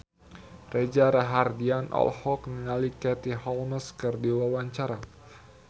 Reza Rahardian olohok ningali Katie Holmes keur diwawancara